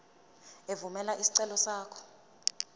evumela isicelo sakho